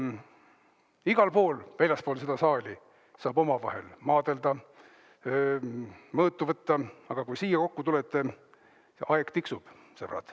Igal pool väljaspool seda saali saab omavahel maadelda, mõõtu võtta, aga kui siia kokku tulete, siis aeg tiksub, sõbrad.